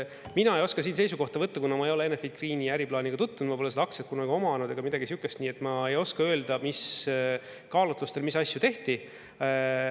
Mina ei oska siin seisukohta võtta, kuna ma ei ole Enefit Greeni äriplaaniga tutvunud, ma pole seda aktsiat kunagi omanud ega midagi sihukest, nii et ma ei oska öelda, mis kaalutlustel mis asju tehti.